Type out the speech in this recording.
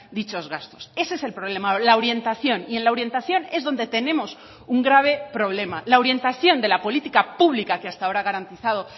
dichos gastos ese es el problema la orientación y en la orientación es donde tenemos un grave problema la orientación de la política pública que hasta ahora ha garantizado